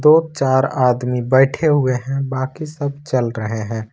चार आदमी बैठे हुए हैं बाकी सब चल रहे हैं।